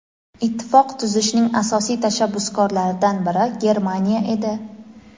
Ittifoq tuzishning asosiy tashabbuskorlaridan biri Germaniya edi.